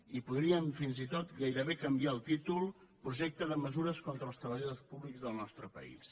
i podríem fins i tot gairebé canviar el títol projecte de mesures contra els treballadors públics del nostre país